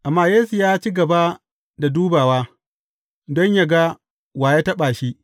Amma Yesu ya ci gaba da dubawa don yă ga wa ya taɓa shi.